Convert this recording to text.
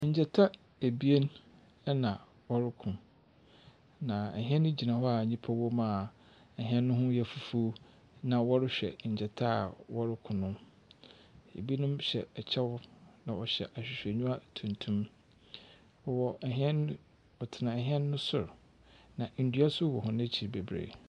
Ngyata ebien na wɔroko, na hɛn gyina hɔ a nnipa wom a hɛn no ho yɛ fufuo, na wɔrehwɛ ngyata a wɔroko no. Ebinom hyɛ kyɛw, na wɔhyɛ ahwehwɛniwa tuntum. Wɔwɔ hɛn wɔtsena hɛn no sor, na ndua nso wɔ hɔn ekyir bebree.